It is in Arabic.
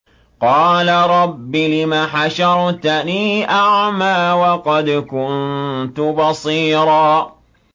قَالَ رَبِّ لِمَ حَشَرْتَنِي أَعْمَىٰ وَقَدْ كُنتُ بَصِيرًا